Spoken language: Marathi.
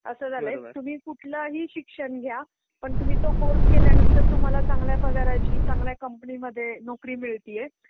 असं झालायं तुम्ही कुठलंही शिक्षण घ्या, पण तुम्ही तो कोर्स केल्यानंतर तुम्हाला चांगला पगाराची चांगल्या कंपनीमध्ये नोकरी मिळतिये